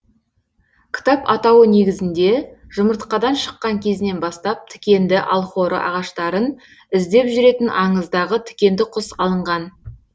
кітап атауы негізінде жұмыртқадан шыққан кезінен бастап тікенді алхоры ағаштарын іздеп жүретін аңыздағы тікенді құс алынған